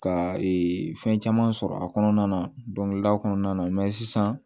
Ka ee fɛn caman sɔrɔ a kɔnɔna na dɔnkilida kɔnɔna na sisan